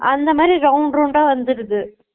அந்தமாதிரி round round டா வந்துருது